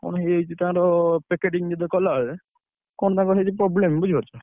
କଣ ହେଇଯାଇଛି ତାର packaging ଯେତବେଳେ କଲାବେଳେ, କଣ ତାଙ୍କର ହେଇଛି problem ବୁଝିପାରୁଛ।